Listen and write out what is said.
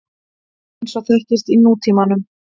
eins og þekkist í nútímanum.